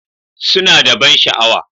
Suna da ban sha'awa.